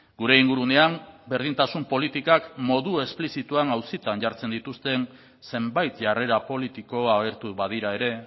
gure ingurunean berdintasun politikak modu esplizituan auzitan jartzen dituzten zenbait jarrera politiko agertu badira ere